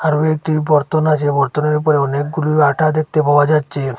আরও একটি বরতন আছে বরতনের উপরে অনেকগুলো আটা দেখতে পাওয়া যাচ্ছে।